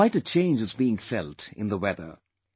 Quite a change is being felt in the weather